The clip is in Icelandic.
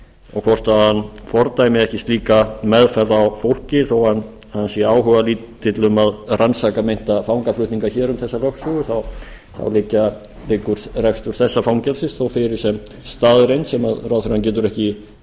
og hvort hann fordæmi ekki slíka meðferð á fólki þó hann sé áhugalítill að rannsaka meinta fangaflutninga hér um þessa lögsögu þá liggur rekstur þessa fangelsis þó fyrir sem staðreynd sem ráðherrann getur ekki neitað og hlýtur